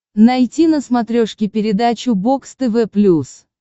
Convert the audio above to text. найти на смотрешке передачу бокс тв плюс